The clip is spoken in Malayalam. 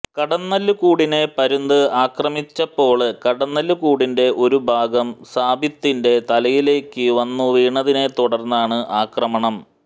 കടന്നല് കൂടിനെ പരുന്ത് ആക്രമിച്ചപ്പോള് കടന്നല് കൂടിന്റെ ഒരു ഭാഗം സാബിത്തിന്റെ തലയിലേക്ക് വന്നു വീണതിനെ തുടര്ന്നാണ് ആക്രമണം